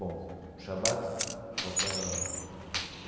Bom Shabbat só para.